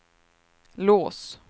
lås